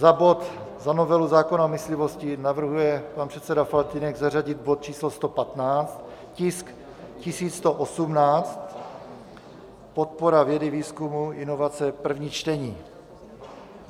Za bod, za novelu zákona o myslivosti navrhuje pan předseda Faltýnek zařadit bod číslo 115, tisk 1118, podpora vědy, výzkumu, inovace, první čtení.